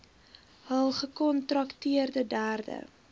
hul gekontrakteerde derde